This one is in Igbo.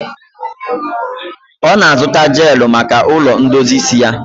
Ọ na-azụta jeelụ maka ụlọ ndozi isi ya.